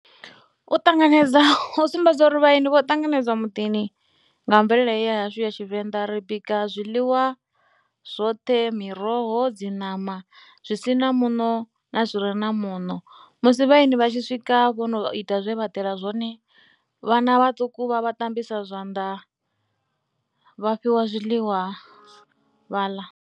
U ṱanganedza, u sumbedza uri vhaeni vho ṱanganedzwa muḓini nga mvelele ya hashu ya Tshivenḓa ri bika zwiḽiwa zwoṱhe, miroho, dzi ṋama zwi si na muṋo na zwi re na muṋo. Musi vhaeni vha tshi swika vho no ita zwe vha ḓela zwone vhana vhaṱuku vha a vha tambisa zwanḓa vha fhiwa zwiḽiwa vha ḽa.